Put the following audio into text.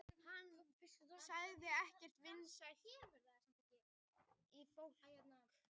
Hann hafði ekkert innsæi í annað fólk